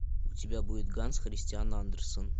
у тебя будет ганс христиан андерсен